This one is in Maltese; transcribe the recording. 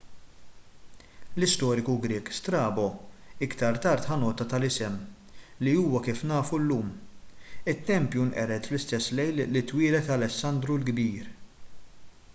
l-istoriku grieg strabo iktar tard ħa nota tal-isem li huwa kif nafu llum it-tempju nqered fl-istess lejl li twieled alessandru l-kbir